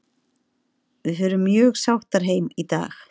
Við förum mjög sáttar heim í dag.